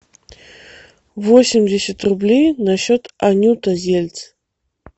восемьдесят рублей на счет анюта зельц